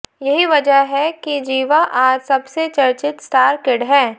यही वजह है कि ज़िवा आज सबसे चर्चित स्टार किड हैं